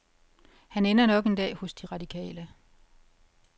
Han ender nok en dag hos de radikale.